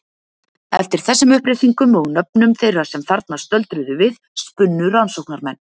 Eftir þessum upplýsingum og nöfnum þeirra sem þarna stöldruðu við spunnu rannsóknarmenn.